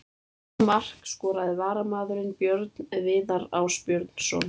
Það mark skoraði varamaðurinn Björn Viðar Ásbjörnsson.